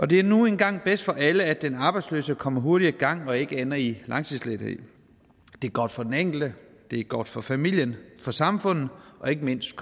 det er nu engang bedst for alle at den arbejdsløse kommer hurtigt i gang og ikke ender i langtidsledighed det er godt for den enkelte det er godt for familien for samfundet og ikke mindst